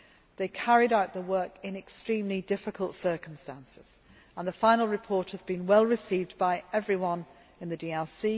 They carried out the work in extremely difficult circumstances and a final report has been well received by everyone in the DRC.